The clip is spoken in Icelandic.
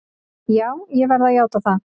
Já, ég verð að játa það.